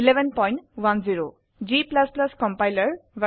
1110 g compiler ভ